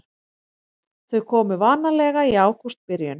Þau komu vanalega í ágústbyrjun.